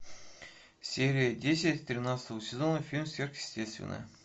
серия десять тринадцатого сезона фильм сверхъестественное